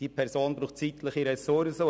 Diese Person braucht zeitliche Ressourcen.